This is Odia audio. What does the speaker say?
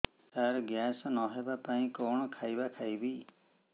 ସାର ଗ୍ୟାସ ନ ହେବା ପାଇଁ କଣ ଖାଇବା ଖାଇବି